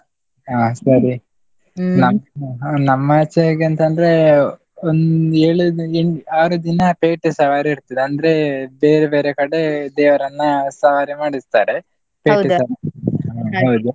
ಆ ಸರಿ ನಮ್ಮಾಚೆ ಹೇಗೆ ಅಂತ ಅಂದ್ರೆ, ಒಂದ್ ಏಳು ಆರು ದಿನ ಪೇಟೆ ಸವಾರಿ ಇರ್ತದೆ, ಅಂದ್ರೆ ಬೇರೆ ಬೇರೆ ಕಡೆ ದೇವರನ್ನ ಸವಾರಿ ಮಾಡಿಸ್ತಾರೆ ಹೌದು.